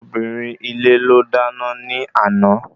Obìnrin ilé ló dáná ní àná